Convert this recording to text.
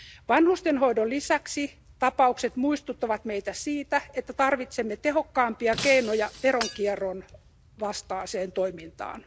Vanhustenhoidon lisäksi tapaukset muistuttavat meitä siitä, että tarvitsemme tehokkaampia keinoja veronkierron vastaiseen toimintaan.